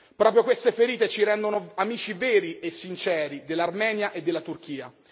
Proprio queste ferite ci rendono amici veri e sinceri dell'Armenia e della Turchia.